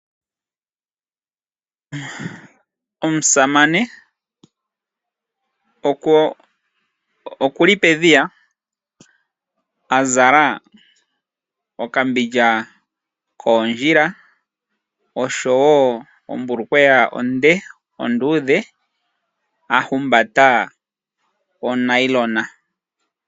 Omusamane okuli pedhiya azala okambindja koondjila oshowo ombulukweya onde onduudhe a humba onailona.